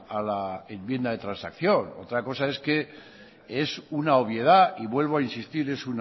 a la enmienda de transacción otra cosas es que es una obviedad y vuelvo a insistir es